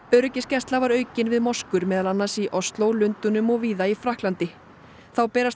öryggisgæsla var aukin við moskur meðal annars í Osló Lundúnum og víða í Frakklandi þá berast